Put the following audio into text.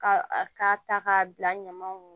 Ka k'a ta k'a bila ɲamaw kun